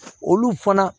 Olu fana